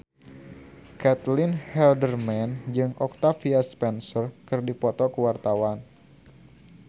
Caitlin Halderman jeung Octavia Spencer keur dipoto ku wartawan